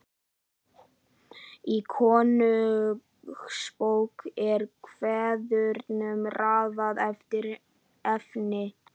Í Konungsbók er kvæðunum raðað eftir efni.